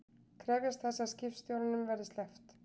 Krefjast þess að skipstjóranum verði sleppt